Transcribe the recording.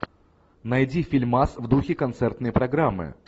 найди фильмас в духе концертной программы